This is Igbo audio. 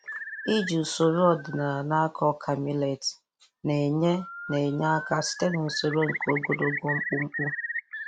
Iji usoro ọdịnala na-akọ ọka milet na-enye na-enye aka site n'usoro nke ogologo mkpumkpu.